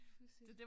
Pudsigt